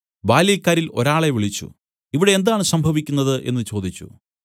ബാല്യക്കാരിൽ ഒരാളെ വിളിച്ചു ഇവിടെ എന്താണ് സംഭവിക്കുന്നത് എന്നു ചോദിച്ചു